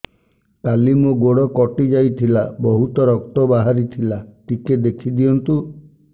କାଲି ମୋ ଗୋଡ଼ କଟି ଯାଇଥିଲା ବହୁତ ରକ୍ତ ବାହାରି ଥିଲା ଟିକେ ଦେଖି ଦିଅନ୍ତୁ